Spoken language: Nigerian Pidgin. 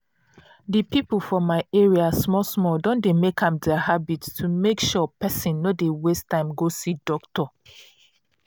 di people for my area small small don make am their habit to make sure pesin no dey waste time go see doctor.